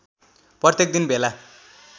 प्रत्येक दिन भेला